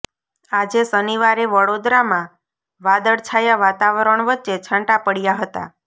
આજે શનિવારે વડોદરામાં વાદળછાયા વાતાવરણ વચ્ચે છાંટા પડયા હતા